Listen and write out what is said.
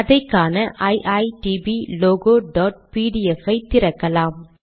அதை காண ஐடிபி logoபிடிஎஃப் ஐ திறக்கலாம்